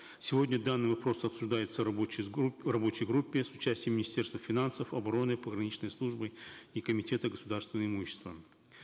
сегодня данный вопрос обсуждается в рабочей группе с участием министерства финансов обороны пограничной службы и комитета государственного имущества